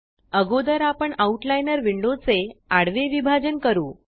अगोदर आपण outliner window चे आडवे विभाजन करू